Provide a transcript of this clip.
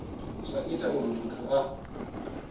zwa ita uri muthu a